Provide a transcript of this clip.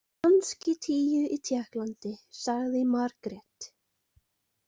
Kannski tíu í Tékklandi, sagði Margrét.